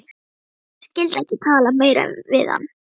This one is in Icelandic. Ég skyldi ekki tala meira við hann.